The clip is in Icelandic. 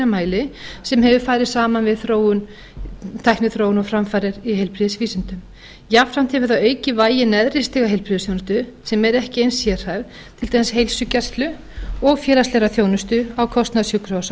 mæli sem hefur farið saman við tækniþróun og framfarir í heilbrigðisvísindum jafnframt hefur það aukið vægi neðri stiga heilbrigðisþjónustu sem er ekki eins sérhæfð til dæmis heilsugæslu og félagslegar þjónustu á kostnað sjúkrahúsa